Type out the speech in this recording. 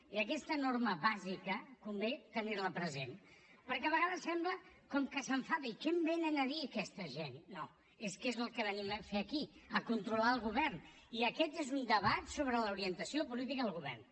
i aquesta norma bàsica convé tenir la present perquè a vegades sembla com que s’enfadi què em vénen a dir aquesta gent no és que és el que venim a fer aquí a controlar el govern i aquest és un debat sobre l’orientació política del govern